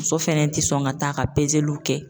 Muso fɛnɛ ti sɔn ka t'a ka pezeliw kɛ.